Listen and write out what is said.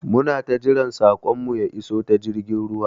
Muna jiran saƙon mu ya iso ta jirgin ruwa